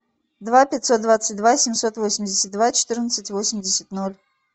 два пятьсот двадцать два семьсот восемьдесят два четырнадцать восемьдесят ноль